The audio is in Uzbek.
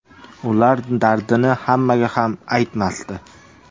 Ular dardini hammaga ham aytmasdi.